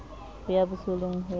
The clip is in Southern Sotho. ho ya bosoleng ho ya